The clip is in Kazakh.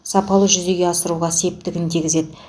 сапалы жүзеге асыруға септігін тигізеді